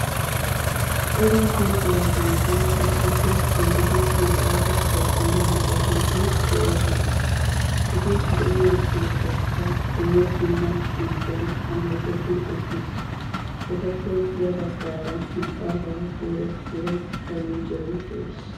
cora luxiyaageeti issippe shiiqidi isippe nababbide de'oosona; eti de'iyo keettaykka dumma dumma xamppiyan aleqeti uttiis; etappe ya baggara maxaafa dooretida faranichchere de'ees.